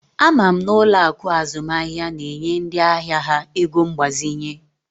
Ama m na ụlọ akụ azụmaahịa na-enye ndị ahịa ha ego mgbazinye